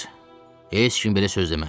Heç kim belə söz deməz!